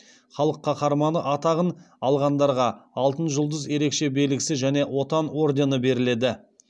халық қаһарманы атағын алғандарға алтын жұлдыз ерекше белгісі және отан ордені беріледі